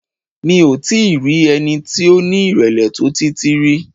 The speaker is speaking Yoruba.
Mi ò tí i rí ẹni tí ó ní ìrèlè tó Títí rí.